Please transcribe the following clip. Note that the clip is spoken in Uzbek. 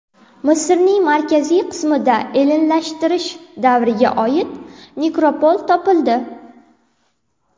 Misrning markaziy qismida ellinlashtirish davriga oid nekropol topildi.